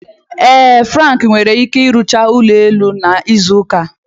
Ee Frank nwere ike rụchaa ụlọ elu n'izu ụka a.